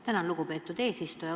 Tänan, lugupeetud eesistuja!